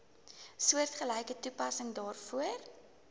soortgelyke toepassing daarvoor